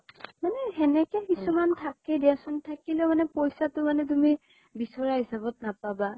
এ সেনেকে কিছুমান থাকে দিয়াছোন, থাকিলেও মানে পইচাতো তুমি বিচৰা হিচাব ত নাপাবা